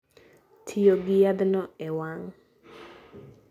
Tiyo gi yadhno e wang'